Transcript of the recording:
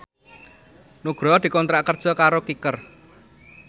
Nugroho dikontrak kerja karo Kicker